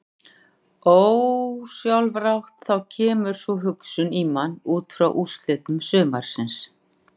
Ósjálfrátt þá kemur sú hugsun í mann útfrá úrslitum sumarsins.